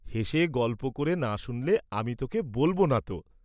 হেসে গল্প করে না শুনলে আমি তোকে বলব না ত।